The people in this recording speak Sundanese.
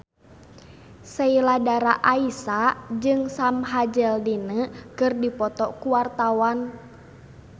Sheila Dara Aisha jeung Sam Hazeldine keur dipoto ku wartawan